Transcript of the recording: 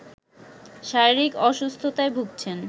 শারীরিক অসুস্থতায় ভুগছেন